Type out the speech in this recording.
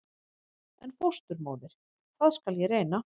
En fósturmóðir- það skal ég reyna.